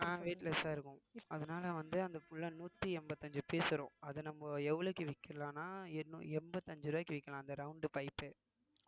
weightless ஆ இருக்கும் அதனாலே வந்து அந்த புல்ல நூத்தி எண்பத்தி அஞ்சு piece வரும் அத நம்ம எவ்வளவுக்கு விக்கலான்னா எண்ணு~ எம்பத்தி அஞ்சு ரூபாய்க்கு விக்கலாம் அந்த round pipe